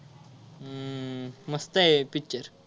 हम्म मस्त आहे picture